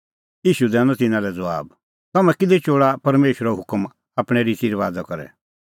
ईशू दैनअ तिन्नां लै ज़बाब तम्हैं किल्है चोल़ा परमेशरो हुकम आपणैं रिती रबाज़ा करै